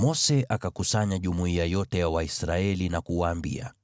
Mose akakusanya jumuiya yote ya Waisraeli na kuwaambia,